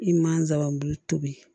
I mansaw b'i tobi